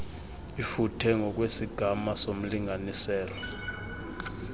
ifuthe ngokwesigama somlinganiselo